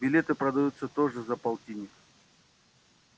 билеты продаются тоже за полтинник